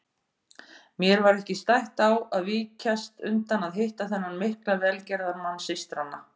Mér var ekki stætt á að víkjast undan að hitta þennan mikla velgerðamann systranna.